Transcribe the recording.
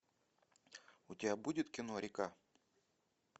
у тебя будет кино река